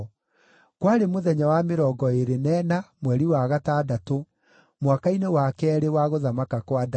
Kwarĩ mũthenya wa mĩrongo ĩĩrĩ na ĩna, mweri wa gatandatũ, mwaka-inĩ wa keerĩ wa gũthamaka kwa Dario.